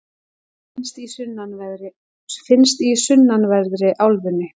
finnst í sunnanverðri álfunni